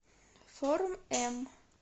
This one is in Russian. форм м